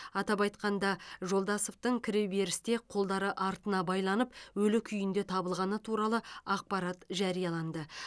атап айтқанда жолдасовтың кіреберісте қолдары артына байланып өлі күйінде табылғаны туралы ақпарат жарияланды